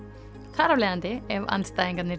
þar af leiðandi ef andstæðingarnir